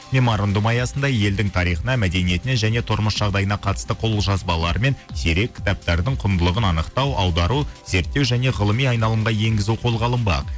меморандум аясында елдің тарихына мәдениетіне және тұрмыс жағдайына қатысты қолжазбалары мен сирек кітаптардың құндылығын анықтау аудару зерттеу және ғылыми айналымға енгізу қолға алынбақ